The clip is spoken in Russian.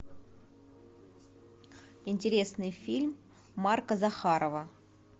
интересный фильм марка захарова